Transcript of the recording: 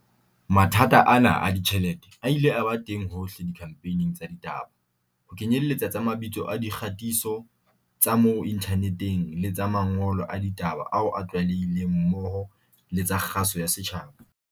Mathata ana a ditjhelete a ile a ba teng hohle dikhamphaning tsa ditaba, ho kenyeletsa tsa mabitso a di kgatiso tsa mo inthaneteng le tsa mangolo a ditaba ao a tlwaelehileng mmoho le tsa kgaso ya setjhaba.